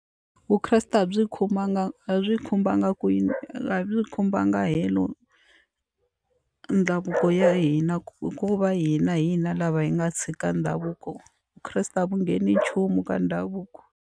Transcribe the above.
Vukreste a byi khomanga a byi khumbanga kwini hi khumbanga helo ndhavuko ya hina hikuva hina hi hina lava hi nga tshika ndhavuko vukreste a vu ngheni nchumu ka ndhavuko.